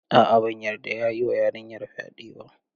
A'a, ban yarda ya yi wa yarinyar fyaɗe ba.